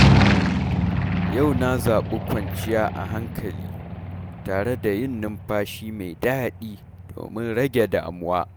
Yau na zabi kwanciya a hankali, tare da yin numfashi mai daɗi domin rage damuwa.